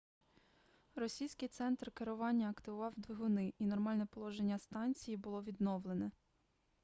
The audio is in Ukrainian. російський центр керування активував двигуни і нормальне положення станції було відновлено